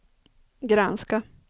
granska